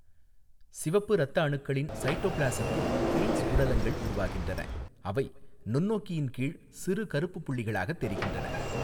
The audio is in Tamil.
சிவப்பு இரத்த அணுக்களின் சைட்டோபிளாஸத்தில் ஹெய்ன்ஸ் உடலங்கள் உருவாகின்றன, அவை நுண்ணோக்கியின் கீழ் சிறு கருப்புப் புள்ளிகளாகத் தெரிகின்றன.